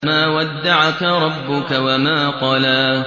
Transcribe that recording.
مَا وَدَّعَكَ رَبُّكَ وَمَا قَلَىٰ